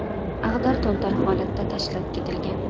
Ag‘dar-to‘ntar holatda tashlab ketilgan.